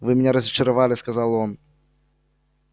вы меня разочаровали сказал он